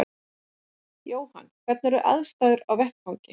Jóhann: Hvernig eru aðstæður á vettvangi?